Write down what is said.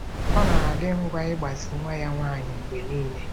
Ọ na-adị ngwa ịgbazi nwa ya nwanyị mgbe niile.